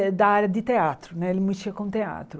É da área de teatro né, ele mexia com teatro.